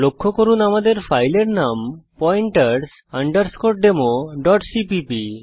লক্ষ্য করুন যে আমাদের ফাইলের নাম পয়েন্টারস আন্ডারস্কোর demoসিপিপি